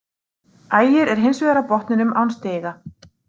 Ægir er hins vegar á botninum án stiga.